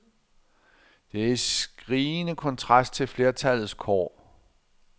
Det er i skrigende kontrast til flertallets kår.